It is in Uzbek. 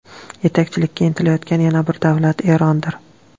Yetakchilikka intilayotgan yana bir davlat Erondir.